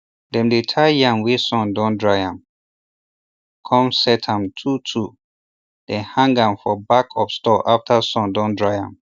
dem dey tie yam wey sun dun dry am cun set am twotwo then hang am for back of store after sun don dry am